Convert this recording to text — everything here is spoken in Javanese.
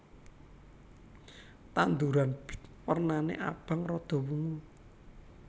Tanduran bit wernané abang rada wungu